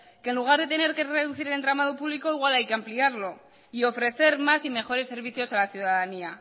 que en lugar de tener que reducir el entramado público igual hay que ampliarlo y ofrecer más y mejores servicios a la ciudadanía